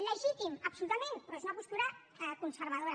legítim absolutament però és una postura conservadora